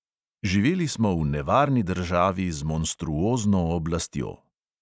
Živeli smo v nevarni državi z monstruozno oblastjo.